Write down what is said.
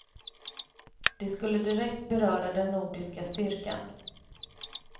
Det skulle direkt beröra den nordiska styrkan.